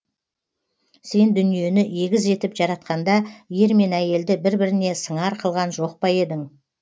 сен дүниені егіз етіп жаратқанда ер мен әйелді бір біріне сыңар қылған жоқ па едің